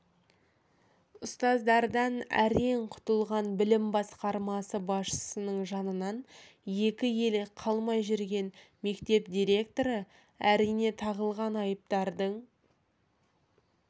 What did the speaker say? ұстаздардан әрең құтылған білім басқармасы басшысының жанынан екі елі қалмай жүрген мектеп директоры әрине тағылған айыптардың